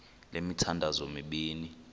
le mithandazo mibini